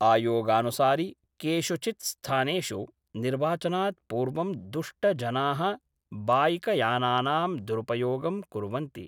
आयोगानुसारि केषुचिद् स्थानेषु निर्वाचनात् पूर्वं दुष्टजनाः बाइकयानानां दुरुपयोगं कुर्वन्ति।